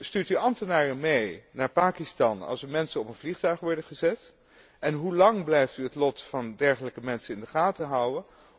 Stuurt u ambtenaren mee naar Pakistan als er mensen op een vliegtuig worden gezet en hoe lang blijft u het lot van dergelijke mensen in de gaten houden?